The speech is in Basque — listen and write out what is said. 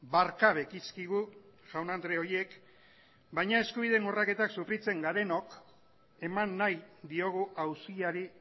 barka bekizkigu jaun andre horiek baina eskubideen urraketak sofritzen garenok eman nahi diogu auziari